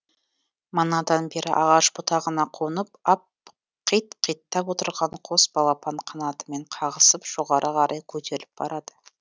манадан бері ағаш бұтағына қонып ап қит қиттап отырған қос балапан қанатымен қағысып жоғары қарай көтеріліп барады